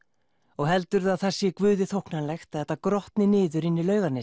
og heldurðu að það sé Guði þóknanlegt að þetta grotni niður inni í Laugarnesi